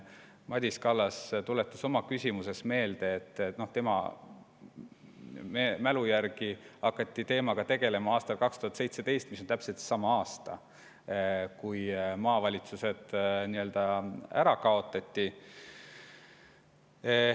Madis Kallas tuletas oma küsimuses meelde, et tema mälu järgi hakati teemaga tegelema aastal 2017, mis on täpselt seesama aasta, kui maavalitsused ära kaotati.